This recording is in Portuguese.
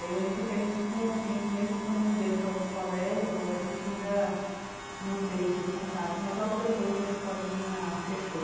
E eu lembro que a gente, por um tempo, mesmo quando eu mudei para outro colégio, a gente ainda manteve o contato, mas logo depois a escolinha fechou.